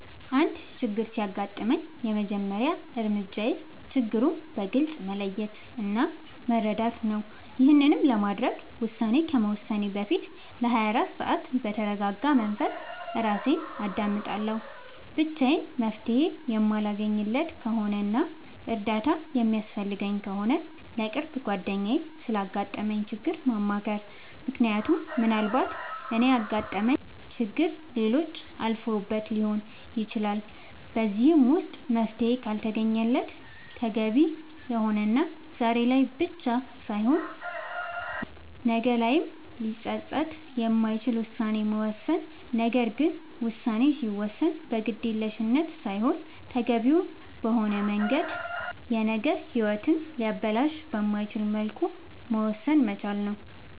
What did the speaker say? አንድ ችግር ሲያጋጥመኝ የመጀመሪያ እርምጃዬ ችግሩን በግልፅ መለየት እና መረዳት ነዉ ይሄንንም ለማድረግ ውሳኔ ከመወሰኔ በፊት ለ24 ሰዓት በተርጋጋ መንፈስ እራሴን አዳምጣለሁ ብቻዬን መፍትሄ የማለገኝለት ከሆነና እርዳታ የሚያስፈልገኝ ከሆነ ለቅርብ ጓደኛዬ ስላጋጠመኝ ችግር ማማከር ምክንያቱም ምናልባት እኔ ያጋጠመኝን ችግር ሌሎች አልፈውበት ሊሆን ይችላል በዚህም ደግሞ መፍትሄ ካልተገኘለት ተገቢ የሆነና ዛሬ ላይ ብቻ ሳይሆን ነገ ላይም ሊፀፅት የማይችል ውሳኔን መወሰን ነገር ግን ውሳኔ ሲወሰን በግዴለሽነት ሳይሆን ተገቢውን በሆነ መንገድ የነገ ሂወትን ሊያበላሽ በማይችልበት መልኩ መወሰን መቻል ነዉ